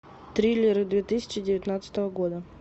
триллеры две тысячи девятнадцатого года